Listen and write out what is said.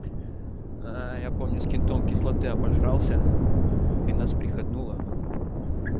ээ я помню с кем то он кислоты обожрался и нас приходнуло